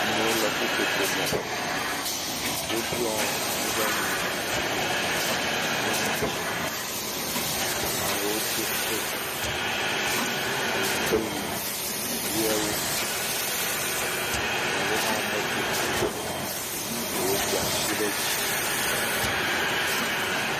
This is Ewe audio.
Amewo le ƒoƒoƒo me, woɖuɔ nu ɖe nu kple ŋɔti. Ame aɖewo do kotu, awutewui ʋie wo. Ame aɖewo medo kotu o. Ɖewo do asi ɖe dzi.